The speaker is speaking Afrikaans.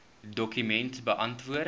dokument beantwoord